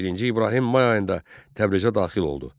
Birinci İbrahim may ayında Təbrizə daxil oldu.